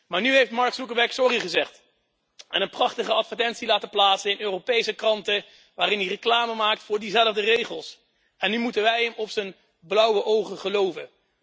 Maar nu heeft Mark Zuckerberg sorry gezegd en een prachtige advertentie laten plaatsen in Europese kranten waarin hij reclame maakt voor diezelfde regels. En nu moeten wij hem op zijn blauwe ogen geloven.